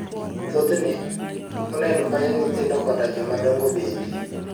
Thothne, pollen konyo nyithindo koda jomadongo bende.